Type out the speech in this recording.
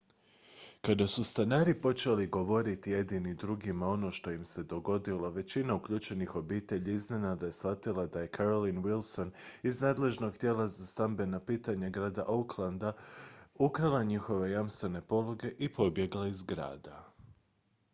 kada su stanari počeli govoriti jedni drugima ono što im se dogodilo većina uključenih obitelji iznenada je shvatila da je carolyn wilson iz nadležnog tijela za stambena pitanja grada oaklanda oha ukrala njihove jamstvene pologe i pobjegla iz grada